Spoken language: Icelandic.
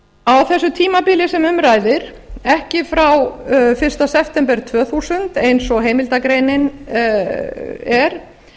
á þessu tímabili sem um ræðir ekki frá fyrsta september tvö þúsund eins og heimildargreinin er